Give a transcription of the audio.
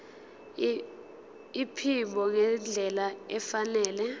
iphimbo ngendlela efanele